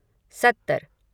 सत्तर